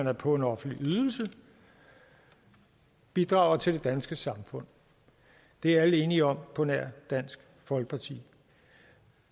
er på en offentlig ydelse bidrager til det danske samfund det er alle enige om på nær dansk folkeparti